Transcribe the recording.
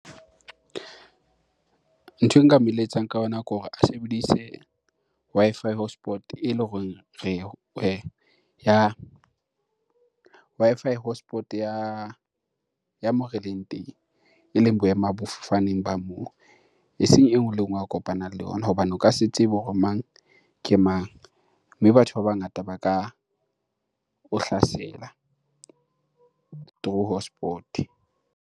Ntho e nka mo eletsang ka yona ke hore a sebedise Wi-Fi hotspot ele horeng Wi-Fi hotspot ya moo re leng teng, eleng boemafofaneng ba moo. Eseng e nngwe le e nngwe a kopanang le ona hobane o ka se tsebe hore mang ke mang? Mme batho ba bangata ba ka o hlasela through hotspot-e.